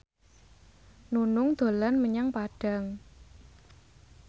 Nunung dolan menyang Padang